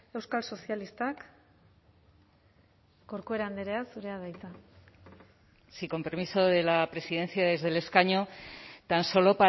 euskal sozialistak corcuera andrea zurea da hitza sí con permiso de la presidencia desde el escaño tan solo